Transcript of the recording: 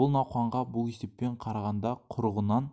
бұл науқанға бұл есеппен қарағанда құрығынан